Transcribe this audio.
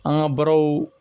An ka barow